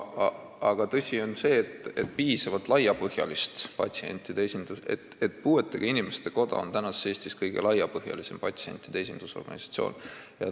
Aga tõsi on see, rääkides piisavalt laiapõhjalisest patsientide esindatusest, et puuetega inimeste koda on tänases Eestis kõige laiapõhjalisem patsientide esindusorganisatsioon.